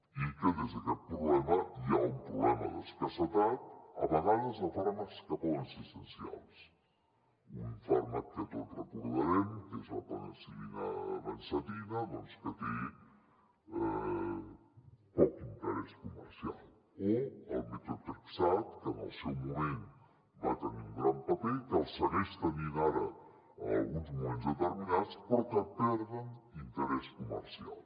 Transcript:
i que des d’aquest problema hi ha un problema d’escassetat a vegades de fàrmacs que poden ser essencials un fàrmac que tots devem recordar que és la penicil·lina benzatina doncs que té poc interès comercial o el metotrexat que en el seu moment va tenir un gran paper que el segueix tenint ara en alguns moments determinats però que perd interès comercial